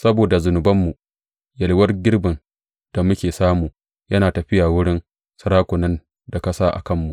Saboda zunubanmu, yalwar girbin da muke samu yana tafiya wurin sarakunan da ka sa a kanmu.